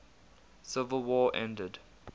civil war ended